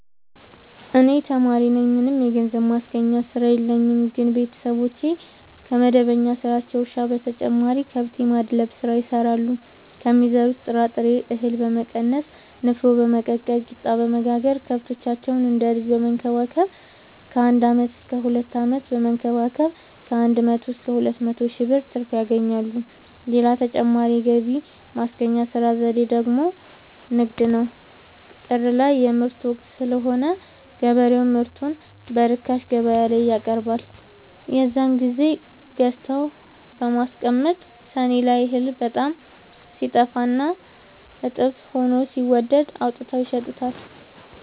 እኔ ተማሪነኝ ምንም የገንዘብ ማስገኛ ስራ የለኝም ግን ቤተሰቦቼ ከመደበኛ ስራቸው እርሻ በተጨማሪ ከብት የማድለብ ስራ ይሰራሉ ከሚዘሩት ጥራጥሬ እሀል በመቀነስ ንፋኖ በመቀቀል ቂጣበወጋገር ከብቶቻቸውን እንደ ልጅ በመከባከብ ከአንድ አመት እስከ ሁለት አመት በመንከባከብ ከአንድ መቶ እስከ ሁለት መቶ ሺ ብር ትርፍ ያገኛሉ። ሌላ ተጨማሪ የገቢ ማስገኛ ዘዴ ደግሞ ንግድ ነው። ጥር ላይ የምርት ወቅት ስለሆነ ገበሬው ምርቱን በርካሽ ገበያላይ ያቀርባል። የዛን ግዜ ገዝተው በመከዘን ሰኔ ላይ እህል በጣም ሲጠፋና ጦፍ ሆኖ ሲወደድ አውጥተው ይሸጡታል።